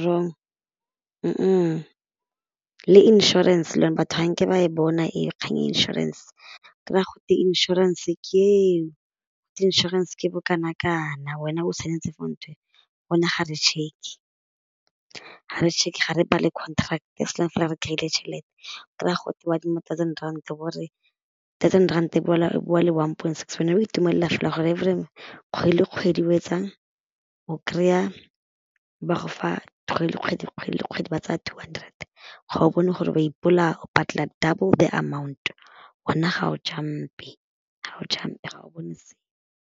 wrong le insurance batho ga nke ba e bona kgang ya insurance kry-a go twe insurance ke eo, insurance ke bo kanakana wena o saenetse for ntho e ga re check, ga re check ga re bale contract as long fela re kryile tšhelete o kry-a go twe o adima thousand rand o bo o re thousand rand e boela e boa e le one point six wena o itumelela fela gore every kgwedi le kgwedi o etsang o kry-a ba go fa kgwedi le kgwedi, kgwedi le kgwedi ba tsaya two hundred ga o bone gore ba ipolaya o patela double the amount wena ga o jump-e ga o jump-e ga o bone sepe.